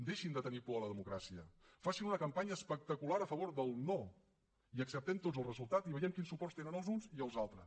deixin de tenir por de la democràcia facin una campanya espectacular a favor del no i acceptem ne tots el resultat i vegem quins suports tenen els uns i els altres